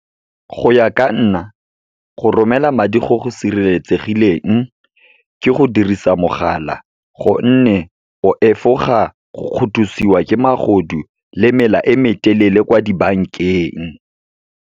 Go ya ka nna, go romela madi go go sireletsegileng ke go dirisa mogala. Gonne, o efoga go kgothosiwa ke magodu le mela e metelele kwa dibankeng.